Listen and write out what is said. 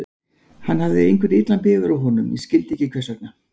Hann hafði eitthvað illan bifur á honum, ég skildi ekki hvers vegna.